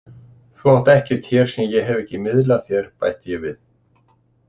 Þú átt ekkert hér sem ég hef ekki miðlað þér, bætti ég við.